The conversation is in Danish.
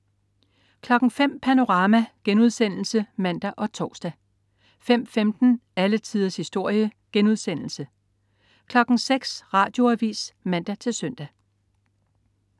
05.00 Panorama* (man og tors) 05.15 Alle tiders historie* 06.00 Radioavis (man-søn)